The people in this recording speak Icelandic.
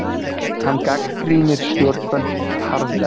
Hann gagnrýnir stjórnvöld harðlega